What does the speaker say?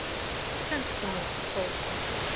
Þetta stendur nú til bóta.